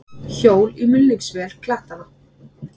Hjól í mulningsvél klettanna.